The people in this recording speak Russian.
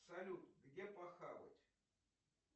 салют где похавать